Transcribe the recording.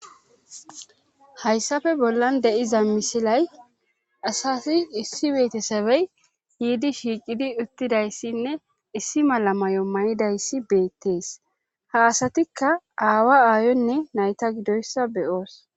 Haysape bollan de7iza misilay asati issi betesebe yiidi shiiqidi uttidayssinne issi mala mayo mayidayssi beetes;ha asatikka aawa aayonne nayta gidoyssa be7oos.